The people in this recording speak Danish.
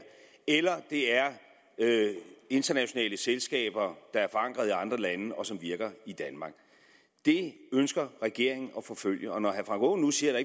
eller det er internationale selskaber der er forankret i andre lande og som virker i danmark det ønsker regeringen at forfølge og når herre frank aaen nu siger at